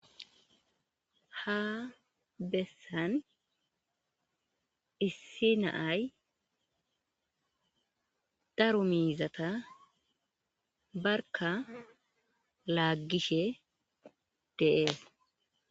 Ha bessan issi na7ay miizata barkka laaggi zayssa bessees.